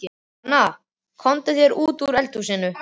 Svona, komdu þér út úr eldhúsinu.